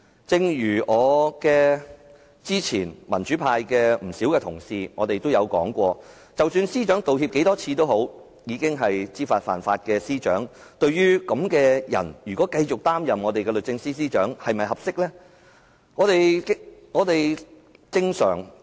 正如之前不少民主派同事說過，司長道歉多少次都好，她已經是知法犯法的司長，對於這樣的人繼續擔任我們的律政司司長，大家認為合適嗎？